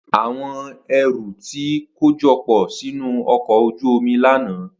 Awọn ẹru ti kojọpọ sinu ọkọ oju omi lana.